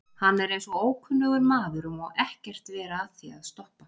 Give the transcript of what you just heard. Hann er eins og ókunnugur maður og má ekkert vera að því að stoppa.